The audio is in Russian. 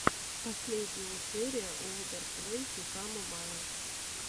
последняя серия олдер плэй фифа мобайл